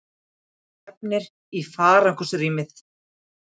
Það stefnir í farangursrýmið.